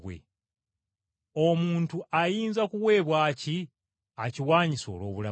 Omuntu ayinza kuweebwa ki, akiwanyise olw’obulamu bwe?